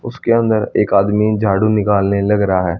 उसके अंदर एक आदमी झाड़ू निकालने लग रहा--